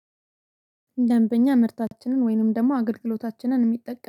ደንበኛ ምርታችንን ወይንም ደግሞ አገልግሎታችንን የሚጠቀም